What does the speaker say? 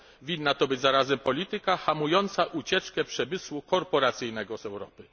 Powinna to być zarazem polityka hamująca ucieczkę przemysłu korporacyjnego z Europy.